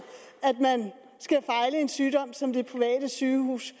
at en sygdom som det private sygehus